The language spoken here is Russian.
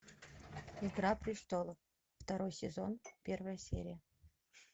игра престолов второй сезон первая серия